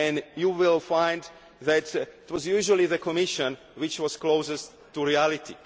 IMF. You will find that it was usually the Commission which was closest to reality.